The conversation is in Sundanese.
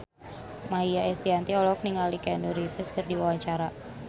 Maia Estianty olohok ningali Keanu Reeves keur diwawancara